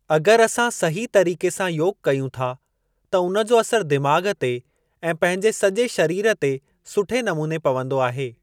अगरि असां सही तरीक़े सां योग कयूं था, त उन जो असरु दिमाग़ ते ऐं पंहिंजे सॼे शरीर ते सुठे नमूने पवन्दो आहे।